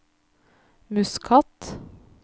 Muscat